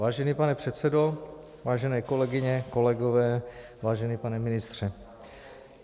Vážený pane předsedo, vážené kolegyně, kolegové, vážený pane ministře.